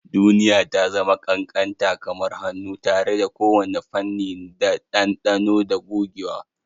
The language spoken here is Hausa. Duniya ta zama ƙanƙanta kamar hannu, tare da kowane fanni da ɗanɗano da gogewa.